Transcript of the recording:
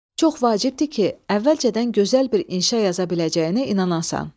Çox vacibdir ki, əvvəlcədən gözəl bir inşa yaza biləcəyinə inanasan.